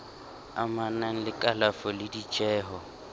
amanang le kalafo le ditjeho